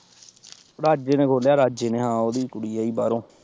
ਰਾਜੇ ਨੇ ਖੋਲਿਆ ਰਾਜੇ ਨੇ ਹਾਂ ਉਹਦੀ ਕੁੜੀ ਆਈ ਬਾਹਰੋਂ।